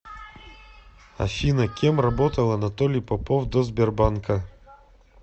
афина кем работал анатолий попов до сбербанка